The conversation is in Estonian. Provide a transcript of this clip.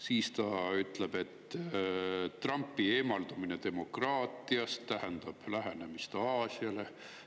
Siis ta ütleb veel, et Trumpi eemaldumine demokraatiast tähendab lähenemist Aasiale.